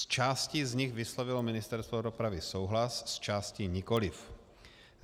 S částí z nich vyslovilo Ministerstvo dopravy souhlas, s částí nikoliv.